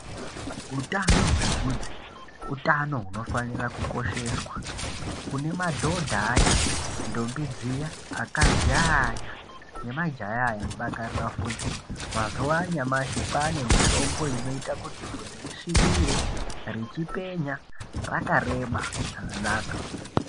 Utano hwevhudzi utano hunofanira kukosheswa. Kune madhodha aya, ndombi dziya, akadzi aya nemajaya aya anodakarira vhudzi, mazuwa anyamashi kwane mitombo inoita kuti vhudzi risvibire richipenya rakareba zvakanaka.